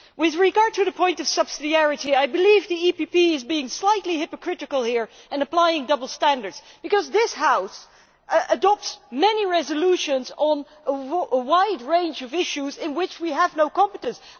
With regard to the point concerning subsidiarity, I believe the EPP is being slightly hypocritical here and applying double standards, because this House adopts many resolutions on a wide range of issues in which we have no competence.